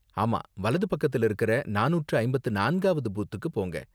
ஆமா, வலது பக்கத்துல இருக்குற நானூற்று ஐம்பத்து நான்காவது பூத்துக்கு போங்க.